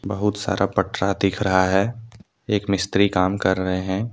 बहुत सारा पत्र दिख रहा है एक मिस्त्री काम कर रहे हैं।